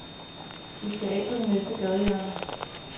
Vi skal af på det næste gadehjørne.